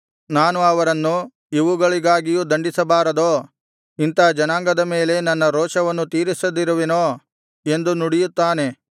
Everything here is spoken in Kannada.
ನಾನು ಅವರನ್ನು ಇವುಗಳಿಗಾಗಿ ದಂಡಿಸಬಾರದೋ ಇಂಥಾ ಜನಾಂಗದ ಮೇಲೆ ನನ್ನ ರೋಷವನ್ನು ತೀರಿಸದಿರುವೆನೋ ಎಂದು ನುಡಿಯುತ್ತಾನೆ